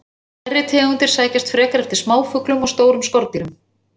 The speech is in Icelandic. Stærri tegundir sækjast frekar eftir smáfuglum og stórum skordýrum.